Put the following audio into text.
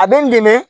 A bɛ n dɛmɛ